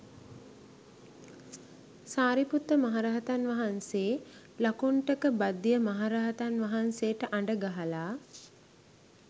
සාරිපුත්ත මහරහතන් වහන්සේ ලකුණ්ඨක භද්දිය මහරහතන් වහන්සේට අඬ ගහලා